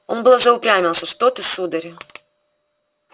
он было заупрямился что ты сударь